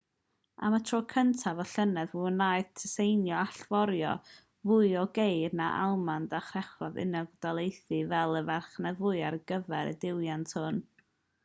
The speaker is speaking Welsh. am y tro cyntaf y llynedd fe wnaeth tsieina allforio mwy o geir na'r almaen a threchu'r unol daleithiau fel y farchnad fwyaf ar gyfer y diwydiant hwn